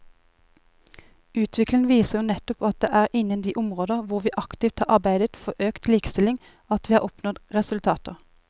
Utviklingen viser jo nettopp at det er innen de områder hvor vi aktivt har arbeidet for økt likestilling at vi har oppnådd resultater.